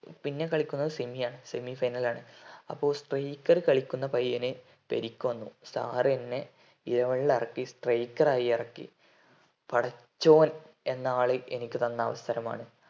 പിന്നെ കളിക്കുന്നത് semi യാ semi final അപ്പോൾ striker കളിക്കുന്ന പയ്യന് പരിക്ക് വന്നു sir എന്നെ eleven ലക്കി striker ഇറക്കി പടച്ചോൻ എന്ന ആള് എനിക്ക് തന്ന അവസരമാണ്